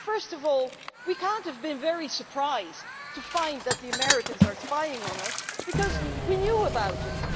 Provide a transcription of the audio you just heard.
First of all, we cannot have been very surprised to find that the Americans are spying on us because we knew about it.